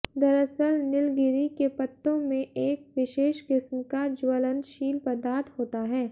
दरअसल नीलगिरी़ के पत्तों में एक विशेष किस्म का ज्वलनशील पदार्थ होता है